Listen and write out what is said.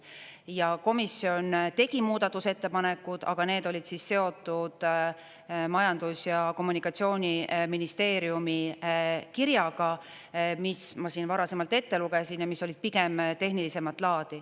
Ja komisjon tegi muudatusettepanekud, aga need olid seotud Majandus- ja Kommunikatsiooniministeeriumi kirjaga, mille ma siin varasemalt ette lugesin ja mis olid pigem tehnilisemat laadi.